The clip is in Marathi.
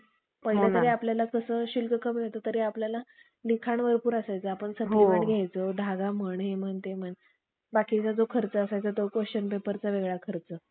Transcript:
वर. प्रजाती करून आपल्या दंगेखोराचा धर्म बराच गाजविला. त्यामध्ये त्यांनी मोठा पुरुषार्थ केला असे म्ह~ असे,